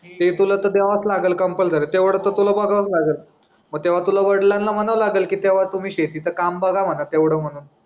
ते तुला तर द्यावाच लागल कंपल्सरी तेव्हर तर तुला बघावाच लागेल म तेव्हा तुला वडिलांना म्हणावं लागल की तेव्हा तुम्ही शेतीचा काम बघा म्हणावं तेवढं म्हणून